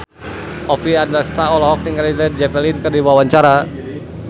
Oppie Andaresta olohok ningali Led Zeppelin keur diwawancara